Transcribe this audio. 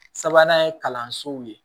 Sabanan ye kalansow ye